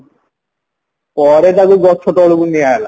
ପରେ ତାକୁ ଗଛ ତଳକୁ ନିଆଗଲା